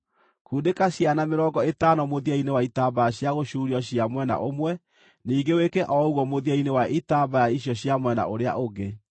Kundĩka ciana mĩrongo ĩtano mũthia-inĩ wa itambaya cia gũcuurio cia mwena ũmwe, ningĩ wĩke o ũguo mũthia-inĩ wa itambaya icio cia mwena ũrĩa ũngĩ.